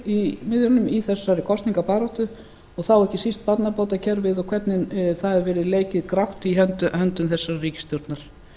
ein af þungamiðjunum í þessari kosningabaráttu og þá ekki síst barnabótakerfið og hvernig það hefur verið leikið grátt í höndum þessarar ríkisstjórnar